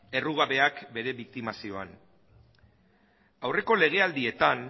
errugabeak bere biktimazioan aurreko legealdietan